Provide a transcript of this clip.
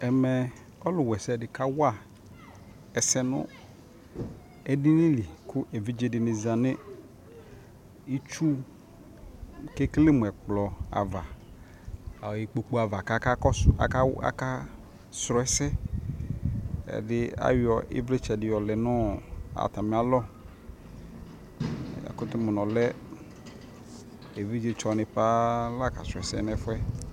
Ɛmɛ ɔlʋwaɛsɛ di kawa ɛsɛ nʋ edini lι kʋ evidzedi ni za nʋ itsu kʋ ekele mʋ ɛkplɔ ava ɔ ikpoku ava kakakɔsuakaw akasrɔ ɛsɛ Ɛvɛ bi ayɔ ivlitsɛ di lɛ nʋ atami alɔ Yakʋtʋ mʋ nʋ ɔlɛ evidzetsɔ ni paa la kasrɔ ɛsɛ